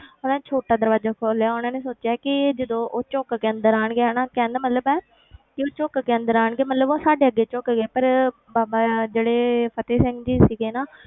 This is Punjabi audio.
ਉਹਨਾਂ ਛੋਟਾ ਦਰਵਾਜ਼ਾ ਖੋਲ ਲਿਆ ਉਹਨਾਂ ਨੇ ਸੋਚਿਆ ਕਿ ਜਦੋਂ ਉਹ ਝੁੱਕ ਕੇ ਅੰਦਰ ਆਉਣਗੇ ਹਨਾ, ਕਹਿਣ ਦਾ ਮਤਲਬ ਕਿ ਕਿ ਉਹ ਝੁੱਕ ਕੇ ਅੰਦਰ ਆਉਣਗੇ ਮਤਲਬ ਉਹ ਸਾਡੇ ਅੱਗੇ ਝੁੱਕ ਗਏ ਪਰ ਬਾਬਾ ਜਿਹੜੇ ਫਤਿਹ ਸਿੰਘ ਜੀ ਸੀਗੇ ਨਾ,